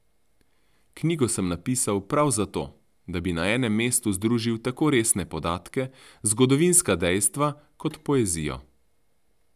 Knjigo sem napisal prav zato, da bi na enem mestu združil tako resne podatke, zgodovinska dejstva, kot poezijo.